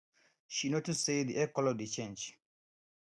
she notice say the egg color dey change